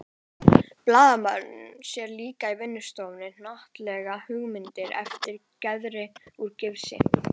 Blaðamaðurinn sér líka í vinnustofunni hnattlaga höggmyndir eftir Gerði úr gifsi.